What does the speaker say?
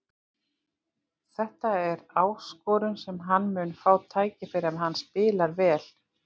Þetta er áskorun en hann mun fá tækifæri ef hann spilar vel.